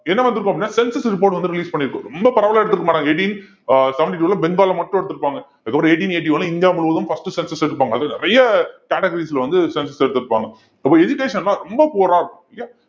என்ன வந்திருக்கும் அப்படின்னா census report வந்து release பண்ணியிருக்கும் ரொம்ப பரவலா எடுத்திருக்கமாட்டாங்க eighteen அஹ் seventy two ல மட்டும் எடுத்திருப்பாங்க அதுக்கப்புறம் eighteen eighty one ல இந்தியா முழுவதும் first cencus எடுப்பாங்க அது நிறைய categories ல வந்து census எடுத்திருப்பாங்க அப்ப education எல்லாம் ரொம்ப poor ஆ இருக்கும் இல்லையா